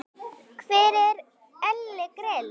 Hver er Elli Grill?